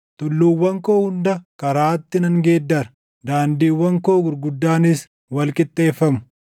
Tulluuwwan koo hunda karaatti nan geeddara; daandiiwwan koo gurguddaanis wal qixxeeffamu.